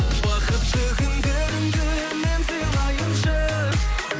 бақытты күндеріңді мен сыйлайыншы